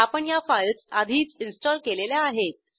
आपण ह्या फाईल्स आधीच इन्स्टॉल केलेल्या आहेत